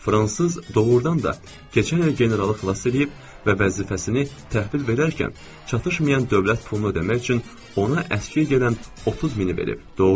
Fransız doğurdan da keçən il generalı xilas eləyib və vəzifəsini təhvil verərkən çatışmayan dövlət pulunu ödəmək üçün ona əskik gələn 30 mini verib.